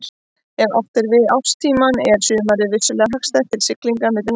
Ef átt er við árstímann er sumarið vissulega hagstæðast til siglinga milli landa.